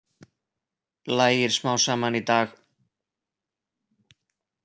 Lægir smám saman í dag